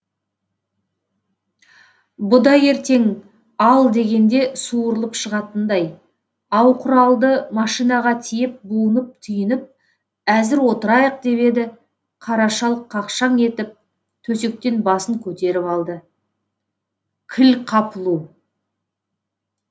бұ да ертең ал дегенде суырылып шығатындай ау құралды машинаға тиеп буынып түйініп әзір отырайық деп еді қара шал қақшаң етіп төсектен басын көтеріп алды кіл қапылу